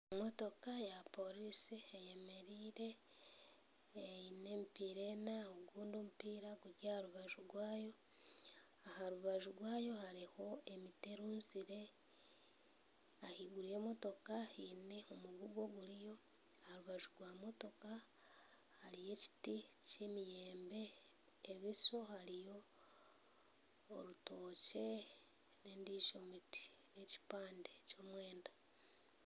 Emotoka ya poriisi eyemereire eine emipiira ena ogundi omupiira guri aha rubaju rwayo. Aha rubaju rwayo hariho emiti erunzire. Ahaiguru y'emotoka haine omugugu oguriyo. Aha rubaju rwa motoka hariyo ekiti ky'emiyembe, ebuso hariyo orutookye n'endijo miti n'ekipande ky'omwenda.